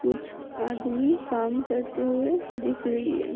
कुछ आदमी काम करते हुए दिख रही है ।